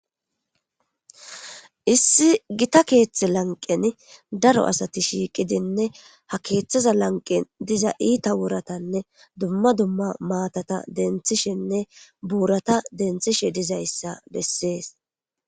issi gita keeththe lanqen daro asati shiiqidinne ha keeththaza lanqen diza iita woratanne dumma dumma maatata denthishenne buurata denthishe dizayssa bessees.